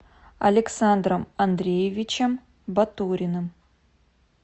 александром андреевичем батуриным